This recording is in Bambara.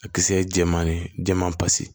A kisɛ ye jɛman ye jɛman pasi